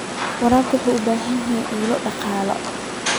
Waraabka wuxuu u baahan yahay ilo dhaqaale.